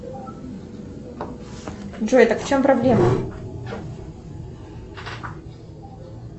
джой так в чем проблема